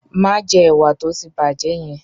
Má jẹ ẹ̀wà tó ti bàjẹ́ yẹn!